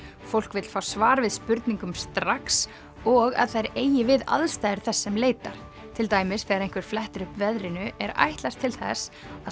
fólk vill fá svar við spurningum strax og að þær eigi við aðstæður þess sem leitar til dæmis þegar einhver flettir upp veðrinu er ætlast til þess að